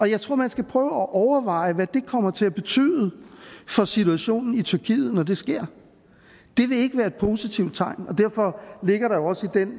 jeg tror man skal prøve at overveje hvad det kommer til at betyde for situationen i tyrkiet når det sker det vil ikke være et positivt tegn og derfor ligger der jo også den